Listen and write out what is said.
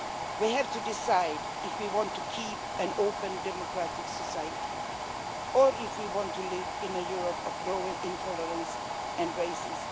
We have to decide if we want to keep an open, democratic society, or if we want to live in a Europe of growing intolerance and racism.